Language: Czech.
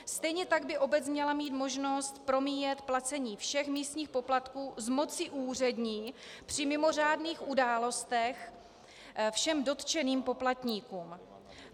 Stejně tak by obec měla mít možnost promíjet placení všech místních poplatků z moci úřední při mimořádných událostech všem dotčeným poplatníkům.